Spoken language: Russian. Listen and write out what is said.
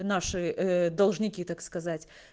наши должники так сказать